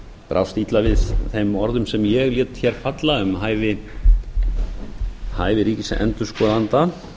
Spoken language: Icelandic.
brást illa við þeim orðum sem ég lét falla um hæfi ríkisendurskoðanda